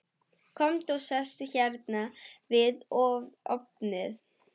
Komdu og sestu hérna við ofninn.